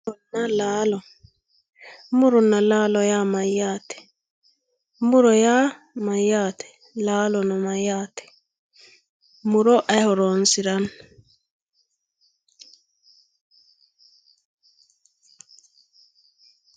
muronna laalo muronna laalo yaa mayyaate? muro yaa mayyaate? laalo yaa mayyaate? muro aye horonsiranno?